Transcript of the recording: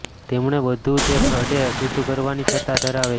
તેમણે બધું તે અડે શુદ્ધ કરવાની સત્તા ધરાવે છે